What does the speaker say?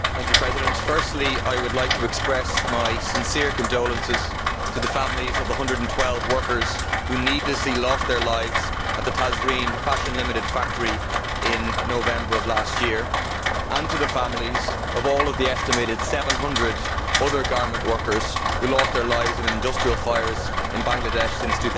Mr President, firstly I would like to express my sincere condolences to the families of the 112 workers who needlessly lost their lives at the Tazreen Fashions Ltd factory in November of last year and to the families of all of the estimated 700 other garment workers who have lost their lives in industrial fires in Bangladesh since